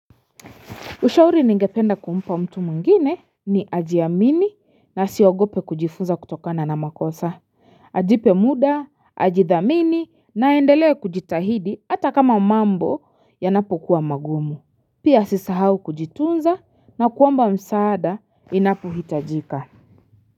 Ushauri ningependa kumpa mtu mwingine ni ajiamini na asiogope kujifuza kutokana na makosa, ajipe mda, ajithamini na aendelee kujitahidi hata kama mambo yanapokuwa magumu, pia asisahau kujitunza na kuomba msaada inapohitajika.